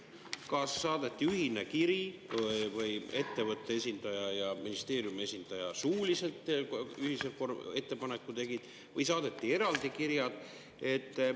Kas saadeti ühine kiri või oli ettevõtte esindaja ja ministeeriumi esindaja suuline ühine ettepanek või saadeti eraldi kirjad?